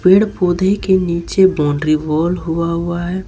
पेड़ पौधे के नीचे बाउंड्री वॉल हुआ हुआ है।